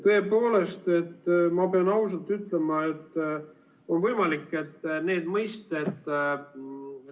Tõepoolest, ma pean ausalt ütlema, et on võimalik, et need mõisted ...